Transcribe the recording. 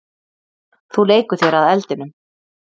Þú leikur þér að eldinum.